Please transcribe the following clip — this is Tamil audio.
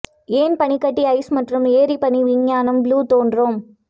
ஏன் பனிக்கட்டி ஐஸ் மற்றும் ஏரி பனி விஞ்ஞானம் ப்ளூ தோன்றும்